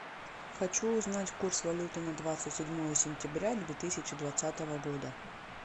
хочу узнать курс валюты на двадцать седьмое сентября две тысячи двадцатого года